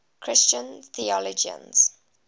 christian theologians